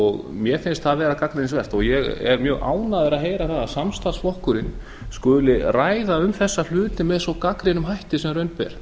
mér finnst það vera gagnrýnisvert ég er mjög ánægður að heyra að samstarfsflokkurinn skuli ræða um þessa hluti sem svo gagnrýnum hætti sem raun ber